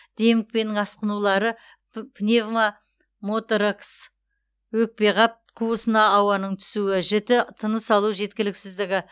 демікпенің асқынулары пневмоторакс өкпеқап қуысына ауаның түсуі жіті тыныс алу жеткіліксіздігі